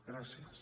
gràcies